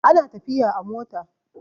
ana tafiya a mota